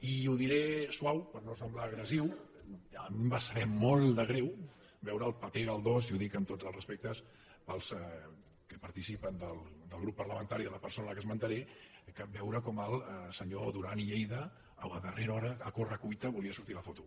i ho diré suau per no semblar agressiu a mi em va saber molt de greu veure el paper galdós i ho dic amb tots els respectes pels que participen del grup parlamentari de la persona que esmentaré veure com el senyor duran i lleida a darrera hora a corre cuita volia sortir a la foto